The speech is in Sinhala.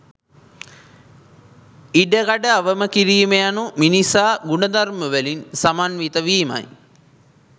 ඉඩකඩ අවම කිරීම යනු මිනිසා ගුණධර්මවලින් සමන්විත වීමයි